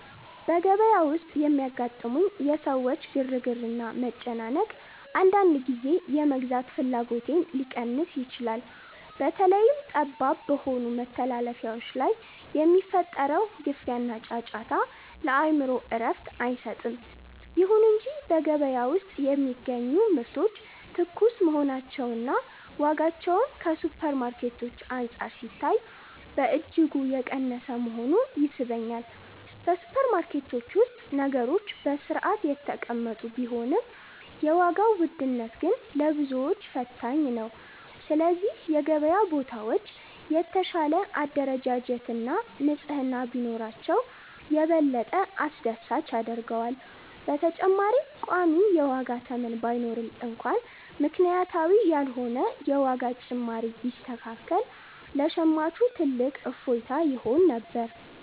በገበያ ውስጥ የሚያጋጥሙኝ የሰዎች ግርግርና መጨናነቅ፣ አንዳንድ ጊዜ የመግዛት ፍላጎቴን ሊቀንስ ይችላል። በተለይም ጠባብ በሆኑ መተላለፊያዎች ላይ የሚፈጠረው ግፊያና ጫጫታ፣ ለአእምሮ እረፍት አይሰጥም። ይሁን እንጂ በገበያ ውስጥ የሚገኙ ምርቶች ትኩስ መሆናቸውና ዋጋቸውም ከሱፐርማርኬቶች አንፃር ሲታይ በእጅጉ የቀነሰ መሆኑ ይስበኛል። በሱፐርማርኬቶች ውስጥ ነገሮች በሥርዓት የተቀመጡ ቢሆንም፣ የዋጋው ውድነት ግን ለብዙዎች ፈታኝ ነው። ስለዚህ የገበያ ቦታዎች የተሻለ አደረጃጀትና ንጽሕና ቢኖራቸው፣ የበለጠ አስደሳች ያደርገዋል። በተጨማሪም ቋሚ የዋጋ ተመን ባይኖርም እንኳን፣ ምክንያታዊ ያልሆነ የዋጋ ጭማሪ ቢስተካከል ለሸማቹ ትልቅ እፎይታ ይሆን ነበር።